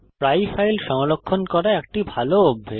প্রায়ই ফাইল সংরক্ষণ করা একটি ভাল অভ্যাস